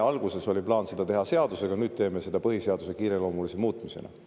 Alguses oli plaan seda teha seadusega, nüüd teeme seda põhiseaduse kiireloomulise muutmisega.